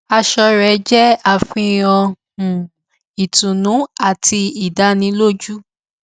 aṣọ rẹ jé àfihàn um ìtùnú àti ìdánilójú